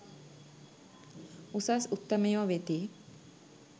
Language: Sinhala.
උසස් උත්තමයෝ වෙති.